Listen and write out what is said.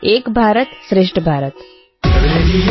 ఏక భారతం శ్రేష్ఠభారతం |